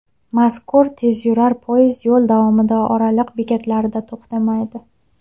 Mazkur tezyurar poyezd yo‘l davomida oraliq bekatlarda to‘xtamaydi.